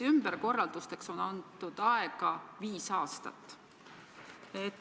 Ümberkorraldusteks on antud aega viis aastat.